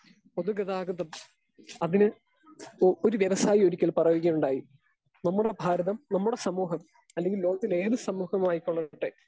speaker 2 പൊതുഗതാഗതം അതിന് ഒരു വ്യവസായി ഒരിക്കൽ പറയുകയുണ്ടായി നമ്മുടെ ഭാരതം, നമ്മുടെ സമൂഹം, അല്ലെങ്കിൽ ലോകത്തിലേത് സമൂഹവുമായിക്കൊള്ളട്ടെ